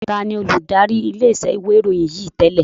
Taàní olùdarí ilé iṣẹ́ ìwé ìròyìn yìí tẹ́lẹ̀?